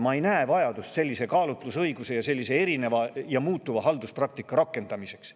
Ma ei näe vajadust sellise kaalutlusõiguse ning erineva ja muutuva halduspraktika rakendamiseks.